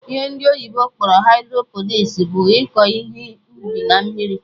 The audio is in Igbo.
Ihe ndị oyibo kpọrọ hydroponics bụ iko ihe ubi na mmiri